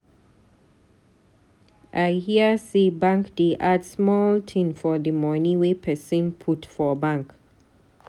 I hear sey bank dey add small tin for di moni wey pesin put for bank.